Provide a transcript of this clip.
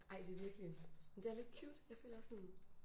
Ej det virkelig men det er lidt cute jeg føler sådan